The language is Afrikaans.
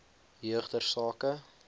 jeug ter sake